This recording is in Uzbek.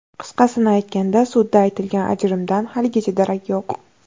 Qisqasini aytganda, sudda aytilgan ajrimdan haligacha darak yo‘q.